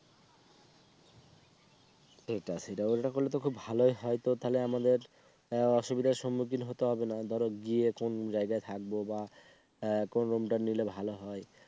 সেটাই সেটা ওটা বললে তো খুব ভালোই হয় তো তাহলে আমাদের অসুবিধার সম্মুখীন হতে হবে না। ধরো গিয়ে কোন জায়গায় থাকবো বা কোন Room টা নিলে ভালো হয়